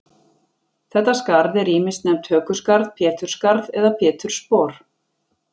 Þetta skarð er ýmis nefnt hökuskarð, pétursskarð eða pétursspor.